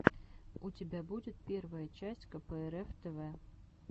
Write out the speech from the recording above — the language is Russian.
у тебя будет первая часть кэпээрэф тэвэ